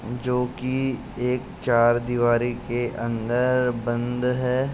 जो कि एक चारदीवारी के अंदर बंद है।